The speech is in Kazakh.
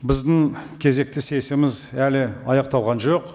біздің кезекті сессиямыз әлі аяқталған жоқ